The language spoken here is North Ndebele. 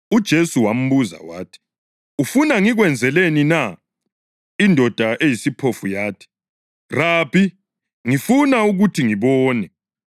UJesu wambuza wathi, “Ufuna ngikwenzeleni na?” Indoda eyisiphofu yathi, “Rabi, ngifuna ukuthi ngibone.”